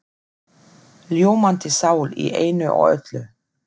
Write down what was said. Ljómandi sál í einu og öllu.